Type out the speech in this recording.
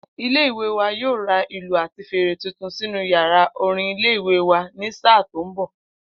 Ilé-ìwé wa yóò ra ìlù àti fèrè tuntun sínú yàrá orin ilé-ìwé wa ní sáà tó ń bò̩.